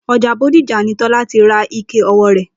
O̩jà Bódìjà ni Tó̩lá ti ra ike o̩wó̩ rè̩